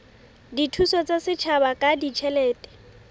dithuso tsa setjhaba ka ditjhelete